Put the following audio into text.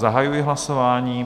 Zahajuji hlasování.